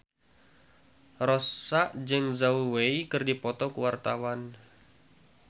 Rossa jeung Zhao Wei keur dipoto ku wartawan